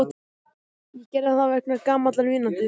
Ég gerði það vegna gamallar vináttu.